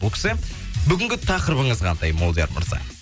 бүгінгі тақырыбыңыз қандай молдияр мырза